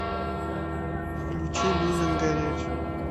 включи люмен гореть